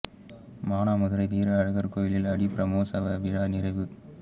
மானாமதுரை வீர அழகா் கோயில் ஆடிப் பிரமோற்சவ விழா நிறைவு